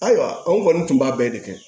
Ayiwa anw kɔni tun b'a bɛɛ de kɛ